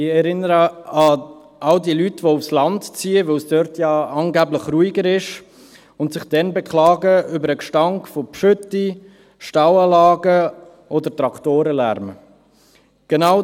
Ich erinnere an all die Leute, die aufs Land ziehen, weil es dort ja angeblich ruhiger ist, und sich dann über den Gestank von Gülle, Stallanlagen oder Traktorenlärm beklagen.